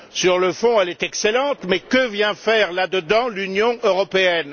Sur le fond, elle est excellente, mais que vient faire là dedans l'Union européenne?